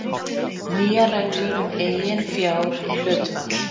Nýjar reglur um eiginfjárhlutfall